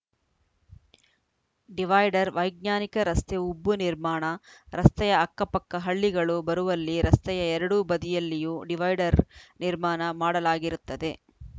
divider ವೈಜ್ಞಾನಿಕ ರಸ್ತೆ ಉಬ್ಬು ನಿರ್ಮಾಣ ರಸ್ತೆಯ ಅಕ್ಕ ಪಕ್ಕ ಹಳ್ಳಿಗಳು ಬರುವಲ್ಲಿ ರಸ್ತೆಯ ಎರಡೂ ಬದಿಯಲ್ಲಿಯೂ ಡಿವೈಡರ್‌ ನಿರ್ಮಾಣ ಮಾಡಲಾಗಿರುತ್ತದೆ